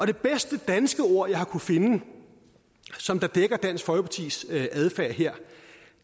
det bedste danske ord jeg har kunnet finde som dækker dansk folkepartis adfærd her